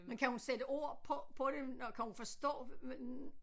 Men kan hun sætte ord på på det når kan hun forstå